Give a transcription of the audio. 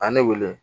A ye ne wele